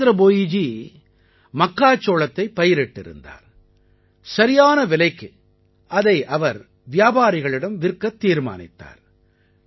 ஜிதேந்த்ர போயிஜி மக்காச்சோளத்தைப் பயிரிட்டிருந்தார் சரியான விலைக்கு அதை அவர் வியாபாரிகளிடம் விற்கத் தீர்மானித்தார்